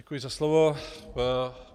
Děkuji za slovo.